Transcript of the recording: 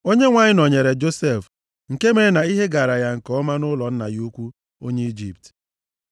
Onyenwe anyị nọnyeere Josef, nke mere na ihe gaara ya nke ọma nʼụlọ nna ya ukwu onye Ijipt.